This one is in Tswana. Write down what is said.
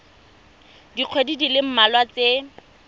dikgweding di le mmalwa tse